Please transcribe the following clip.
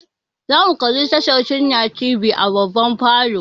Zamu kalla tashar sunna tv da baba a falo.